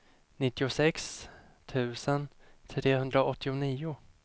nittiosex tusen trehundraåttionio